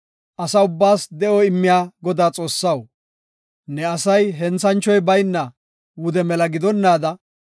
“Asa ubbaas de7o immiya Godaa Xoossaw, ne asay henthanchoy bayna wude mela gidonnaada,